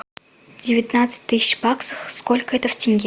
девятнадцать тысяч баксов сколько это в тенге